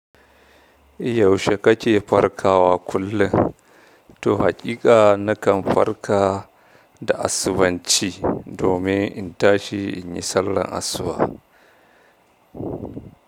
Yaushe kake farkawa kullum to haƙiƙa na kan farka da asubanci, domin in tashi in yi sallar asuba.